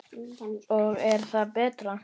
Og er það betra?